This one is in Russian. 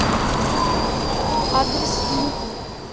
адрес ньютон